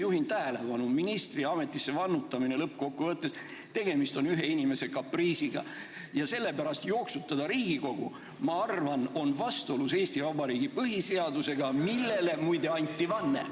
Muide, juhin tähelepanu, et ministri ametisse vannutamise puhul on lõppkokkuvõttes tegemist ühe inimese kapriisiga ja sellepärast jooksutada Riigikogu on minu arvates vastuolus Eesti Vabariigi põhiseadusega, millele, muide, anti vanne.